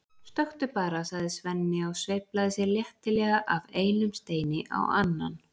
stökktu bara, sagði Svenni og sveiflaði sér léttilega af einum steini á annan.